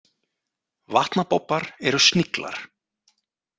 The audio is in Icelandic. Vatnabobbar eru sniglar.